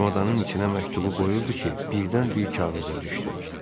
Çamadanın içinə məktubu qoyurdu ki, birdən bir kağız da düşdü.